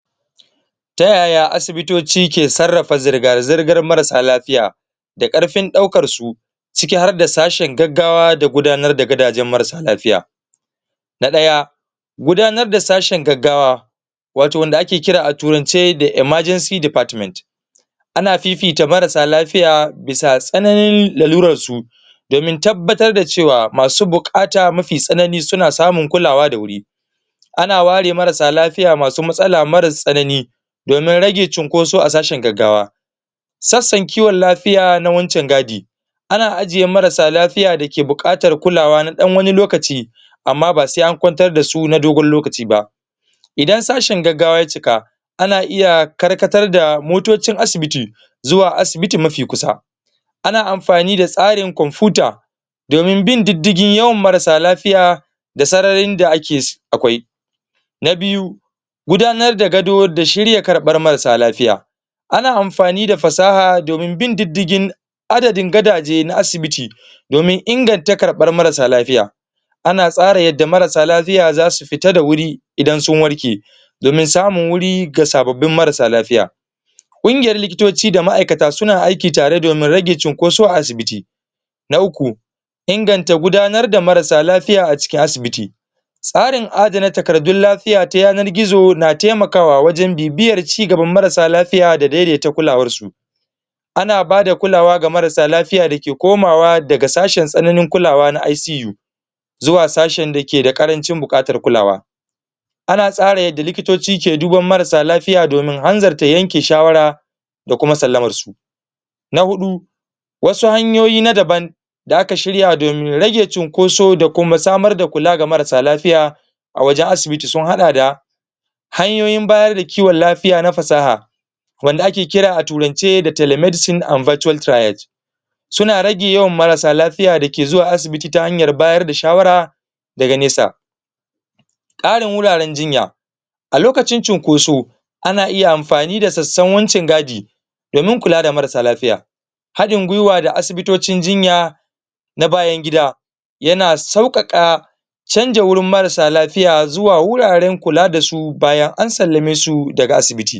ta yaya asibitoci ke sarrafa zirga-zirgar marasa lafiya da ƙarfin ɗaukar su ciki har da sashin gaggawa da gudanar da gadajen marasa lafiya na ɗaya gudanar da sashin gaggawa wato wanda ake kira a turance da emergency department ana fifita marasa lafiya bisa tsananin lalurar su domin tabbatar da cewa masu buƙata mafi tsanani suna samun kulawa da wuri ana ware marasa lafiya masu matsala marar tsanani domin rage cunkoso a sashen gaggawa sassan kiwon lafiya na wuncin gadi ana ajiye marasa lafiya da ke buƙatar kulawa na ɗan wani lokaci amma ba se an kwantar da su na dogon lokaci ba idan sashin gaggawa ya cika ana iya karkatar da motocin asibiti zuwa asibiti mafi kusa ana amfani da tsarin komfuta domin bin diddigin yawan marasa lafiya da sararin da akwai na biyu gudanar da gado da shirya karɓar marasa lafiya ana amfani da fasaha domin bin diddigin adadin gadaje na asibiti domin inganta karɓar marasa lafiya ana tsara yadda marasa lafiya zasu fita da wuri idan sun warke domin samun wuri ga sababbin marasa lafiya ƙungiyar likitoci da ma'aikata suna aiki tare domin rage cunkoso a asibiti na uku inganta gudanar da marasa lafiya a cikin asibiti tsarin adana takardun lafiya ta yanar gizo na na temakawa wajen bibiyar cigaban marasa lafiya da dai-daita kulawar su ana bada kulawa ga marasa lafiya da ke komawa daga sashin tsananin kulawa na ICU zuwa sashin da ke da ƙarancin buƙatar kulawa ana tsara yadda likitoci ke duban marasa lafiya domin hanzarta yanke shawara da kuma sallamar su na huɗu wasu hanyoyi na daban da aka shirya domin rage cunkoso da kuma samar da kula ga marasa lafiya a wajen asibiti sun haɗa da hanyoyin bayar da kiwon lafiya na fasaha wanda ake kira a turance da telemedicine and virtual suna rage yawan marasa lafiya da ke zuwa asibiti ta hanyar bayar da shawara daga nesa ƙarin wuraren jinya a lokacin cunkoso ana iya amfani da sassan wuncin gaji domin kula da marasa lafiya haɗin gwiwa da asibitocin jinya na bayan gida yana sauƙaƙa canja wurin marasa lafiya zuwa wuraren kula da su bayan an sallame su daga asibiti